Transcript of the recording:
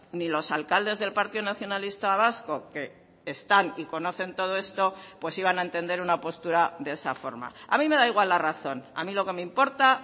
ni los alcaldes del partido nacionalista vasco que están y conocen todo esto pues iban a entender una postura de esa forma a mí me da igual la razón a mi lo que me importa